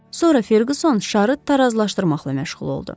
Sonra Ferguson şarı tarazlaşdırmaqla məşğul oldu.